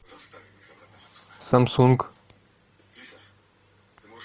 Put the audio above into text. самсунг